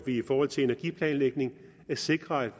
cetera det